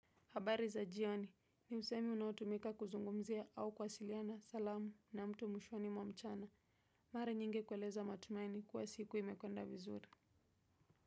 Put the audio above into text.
Habari za jioni ni usemi unaotumika kuzungumzia au kuwasiliana salamu na mtu mwishoni mwa mchana. Mara nyingi kueleza matumaini kuwa siku imekwenda vizuri.